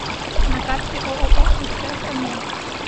на карте ооо сп самед